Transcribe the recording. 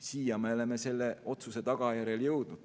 Siia me oleme selle otsuse tagajärjel jõudnud.